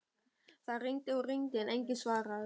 Það hringdi og hringdi en enginn svaraði.